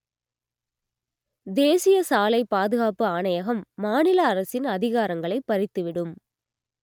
தேசிய சாலை பாதுகாப்பு ஆணையகம் மாநில அரசின் அதிகாரங்களை பறித்துவிடும்